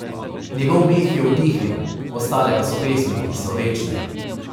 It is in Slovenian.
Njegov meh je utihnil, ostale pa so pesmi, ki so večne.